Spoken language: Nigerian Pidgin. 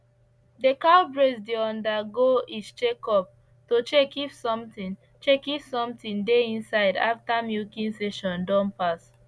the cows breast dey undergo is check up to check if something check if something dey inside after milking session don pass